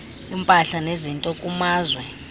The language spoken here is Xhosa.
impahla nezinto kumazwe